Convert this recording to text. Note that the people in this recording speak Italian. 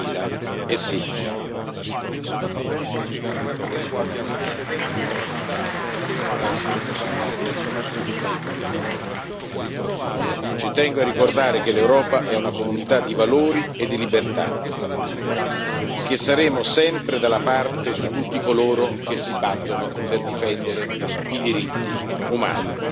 2016. Ci tengo a ricordare che l'Europa è una comunità di valori e di libertà e che saremo sempre dalla parte di tutti coloro che si battono per difendere i diritti umani.